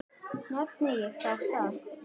Nefndi ég þá stað.